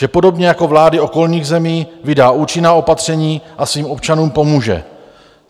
Že podobně jako vlády okolních zemí vydá účinná opatření a svým občanům pomůže.